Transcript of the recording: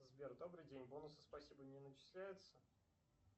сбер добрый день бонусы спасибо не начисляются